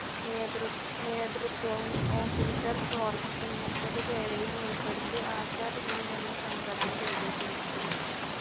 നേതൃത്വവും ഓഫീസർ കോർപ്സും മുപ്പതുപേരെയും ഉൾപ്പെടുത്തി ആസാദ് ഹിന്ദ്‌ എന്ന സംഘടന രൂപീകരിച്ചു.